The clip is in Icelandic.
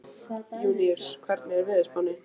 Júníus, hvernig er veðurspáin?